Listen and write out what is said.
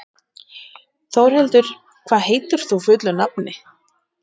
Þórhildur, hvað heitir þú fullu nafni?